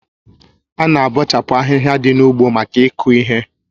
Ána abọchapu ahịhịa dị n'ugbo maka iku ihe